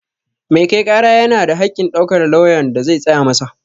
Mai kai ƙara yana da haƙƙin ɗaukar lauyan da zai tsaya masa